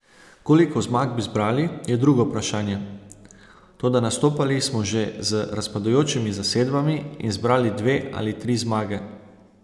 Koliko zmag bi zbrali, je drugo vprašanje, toda nastopali smo že z razpadajočimi zasedbami in zbrali dve ali tri zmage.